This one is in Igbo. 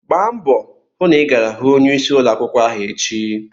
Gba mbọ hụ na ị gara hụ onyeisi ụlọ akwụkwọ ahụ echi!